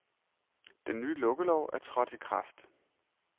Den nye lukkelov er trådt i kraft.